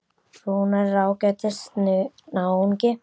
Rúnar er ágætis náungi.